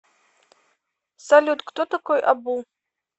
салют кто такой абу